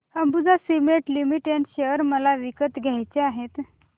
Ambuja Cement Limited share मला विकत घ्यायचे आहेत